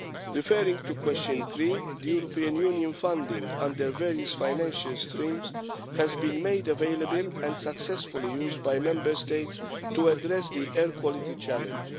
Referring to question three, European Union funding under various financial streams has been made available and successfully used by Member States to address the air quality challenge.